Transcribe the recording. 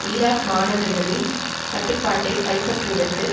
Iraq மாநகர்களின் கட்டுப்பாட்டை கைப்பற்றுவதற்கு